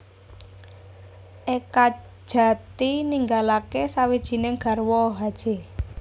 Ekadjati ninggalake sawijining garwa Hj